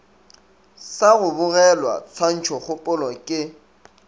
sa go bogelwa tshwantšhokgopolo ke